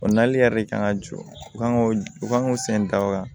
O nali yɛrɛ de kan ka jɔ u kan k'o u kan k'u sen da waga